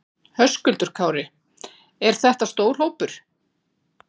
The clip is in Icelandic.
Höskuldur Kári: Er þetta stór hópur?